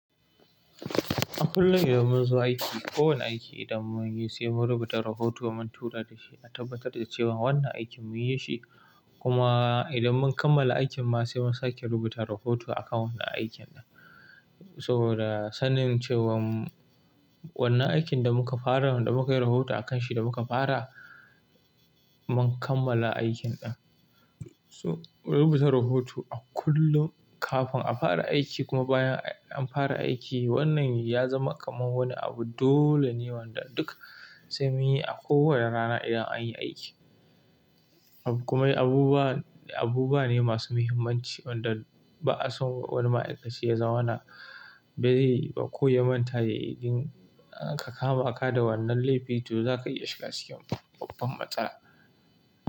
A kullum idan mun zo aiki, ko wane aiki idan mun yi sai mu rubuta rahoto mun tura da shi, a tabbatar da cewan wannan aikin mun yi shi, kuma idan mun kammala aikin ma sai mun sake rubuta rahoto akan wannan aikin nan. Saboda sanin cewan, wannan aikin da muka fara, wanda mu kai rahoto akan shi da muka fara, mun kammala aikin ɗin. So rubuta rahoto a kullum kafin a fara aiki kuma bayan an fara aiki wannan ya zama kaman wani abu dole ne, wanda duk sai muyi a kowane rana idan an yi aiki. In kuma yi abubuwa, abubuwa ne masu muhimmanci, wanda ba'a son wani ma'aikaci ya zamana, ba zai yi ba ko ya manta yayi. Idan aka kama ka da wannan laifi, to za ka iya shiga cikin babban matsala.